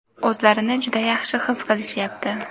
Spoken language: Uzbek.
o‘zlarini juda yaxshi his qilishyapti.